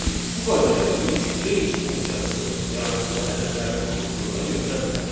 Bu qayda ilə biz range funksiyasını yaratdığı ədədlər toplusunu da götürə bilərik.